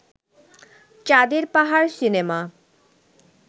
Chander Pahar cinema